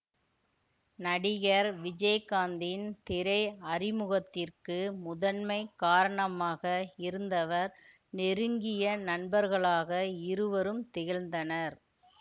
நடிகர் விஜயகாந்த்தின் திரை அறிமுகத்திற்கு முதன்மை காரணமாக இருந்தவர் நெருங்கிய நண்பர்களாக இருவரும் திகழ்ந்தனர்